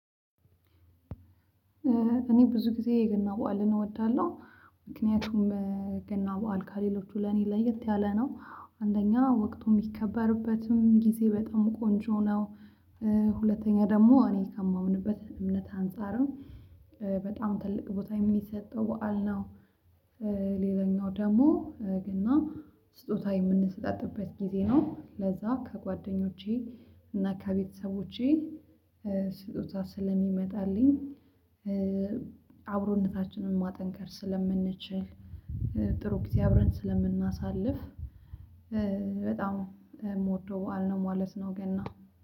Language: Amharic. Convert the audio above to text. እኔ ብዙ ጊዜ የገና በዓልን እወዳለሁ። ምክንያቱም ገና በዓል ከሌሎቹ ለኔ ለየት ያለ ነው። አንደኛ ወቅቱም የሚከበርበትም ጊዜ በጣም ቆንጆ ነው። ሁለተኛ ደግሞ እኔ ከማምንበት እምነት አንፃርም በጣም ትልቅ ቦታ የሚሰጠው በዓል ነው። ሌላኛው ደግሞ ገና ስጦታ የምንሰጣጥበት ጊዜ ነው ለዛ ከጓደኞቼ እና ከቤተሰቦቼ ስጦታ ስለሚመጣልኝ አብሮነታችንን ማጠንከር ስለምንችል። ጥሩ ጊዜ አብረን ስለምናሳልፍ በጣም የምወደው በዓል ነው ማለት ነው። ገና